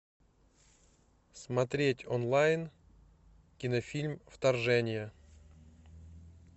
смотреть онлайн кинофильм вторжение